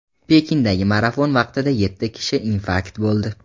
Pekindagi marafon vaqtida yetti kishi infarkt bo‘ldi.